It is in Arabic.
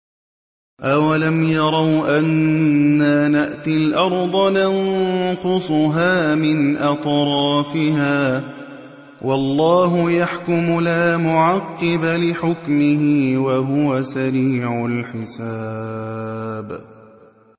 أَوَلَمْ يَرَوْا أَنَّا نَأْتِي الْأَرْضَ نَنقُصُهَا مِنْ أَطْرَافِهَا ۚ وَاللَّهُ يَحْكُمُ لَا مُعَقِّبَ لِحُكْمِهِ ۚ وَهُوَ سَرِيعُ الْحِسَابِ